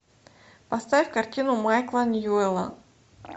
поставь картину майкла ньюэлла